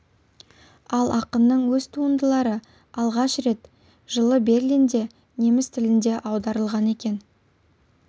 ал ақынның өз туындылары алғаш рет жылы берлинде неміс тіліне аударылған екен